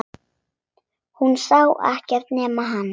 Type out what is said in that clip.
Hún sá ekkert nema hann!